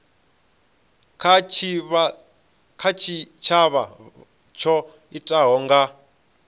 kha tshitshavha tsho itikaho nga